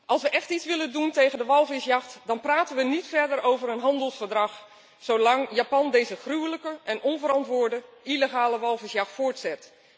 Als we echt iets willen doen tegen de walvisjacht, dan praten we niet verder over een handelsverdrag zolang Japan deze gruwelijke en onverantwoorde illegale walvisjacht voortzet.